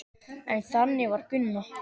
En þannig var Gunna.